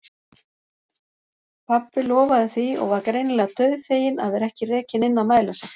Pabbi lofaði því og var greinilega dauðfeginn að vera ekki rekinn inn að mæla sig.